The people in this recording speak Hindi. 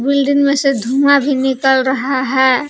बिल्डिंग में से धुआं भी निकल रहा है।